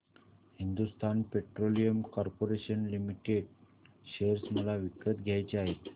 Hindustan Petroleum Corporation Limited share मला विकत घ्यायचे आहेत